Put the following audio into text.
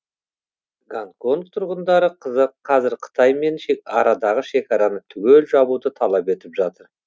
гонконг тұрғындары қазір қытаймен арадағы шекараны түгел жабуды талап етіп жатыр